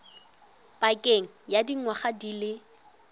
pakeng ya dingwaga di le